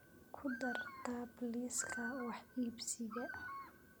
ku dar tab liiska wax iibsiga